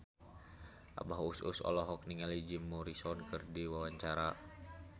Abah Us Us olohok ningali Jim Morrison keur diwawancara